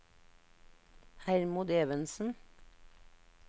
Hermod Evensen